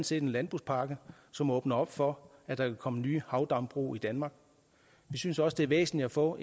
set landbrugspakken som åbner for at der kan komme nye havdambrug i danmark vi synes også det er væsentligt at få